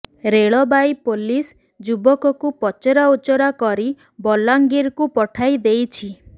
ରେଳବାଇ police ଯୁବକକୁ ପଚରାଉଚରା କରି ବଲାଙ୍ଗିରକୁ ପଠାଇ ଦେଇଛି